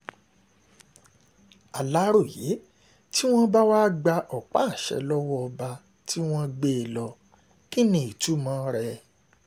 aláròye tí wọ́n bá wá gba ọ̀pá-àṣẹ lọ́wọ́ ọba tí wọ́n gbé e lọ kí ní ìtumọ̀ rẹ̀